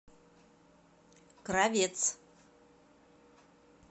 кравец